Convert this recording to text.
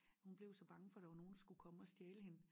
Hun blev så bange for der var nogen der skulle komme og stjæle hende